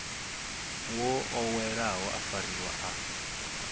wo oweleaho a fariwa a